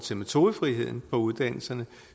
metodefriheden på uddannelserne